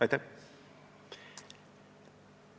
Aitäh!